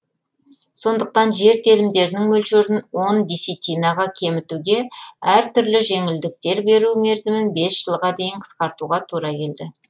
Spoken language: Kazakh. сондықтан жер телімдерінің мөлшерін он десятинаға кемітуге әр түрлі жеңілдіктер беру мерзімін бес жылға дейін қысқартуға тура келді